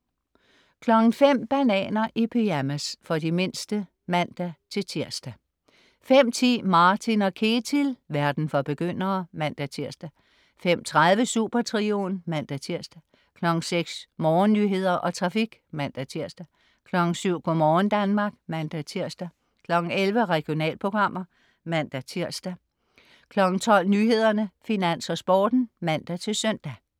05.00 Bananer i pyjamas. For de mindste (man-tirs) 05.10 Martin & Ketil. Verden for begyndere (man-tirs) 05.30 Supertrioen (man-tirs) 06.00 Morgennyheder og trafik (man-tirs) 07.00 Go' morgen Danmark (man-tirs) 11.00 Regionalprogrammer (man-tirs) 12.00 Nyhederne, Finans, Sporten (man-søn)